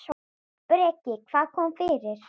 Breki: Hvað kom fyrir?